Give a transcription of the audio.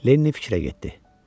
Lenni fikrə getdi.